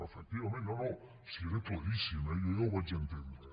efectivament no no si era claríssim eh jo ja ho vaig entendre